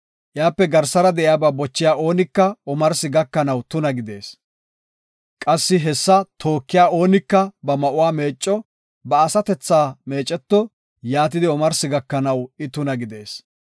Iyape garsara de7iyaba bochiya oonika omarsi gakanaw tuna gidees; qassi hessa tookiya oonika ba ma7uwa meecco; ba asatetha meeceto; yaatidi omarsi gakanaw I tuna gidees.